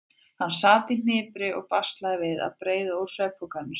Hann sat í hnipri og baslaði við að breiða úr svefnpokanum sínum.